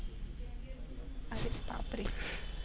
अरे बापरे!